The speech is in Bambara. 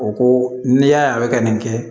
O ko n'i y'a ye a bɛ ka nin kɛ